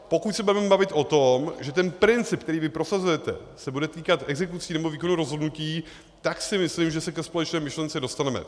Pokud se budeme bavit o tom, že ten princip, který vy prosazujete, se bude týkat exekucí, nebo výkonu rozhodnutí, tak si myslím, že se ke společné myšlence dostaneme.